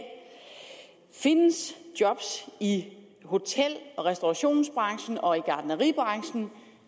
findes job i hotel og restaurationsbranchen og i gartneribranchen